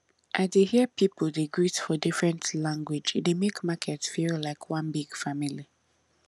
i dey hear people dey greet for different language e dey make market feel like one big family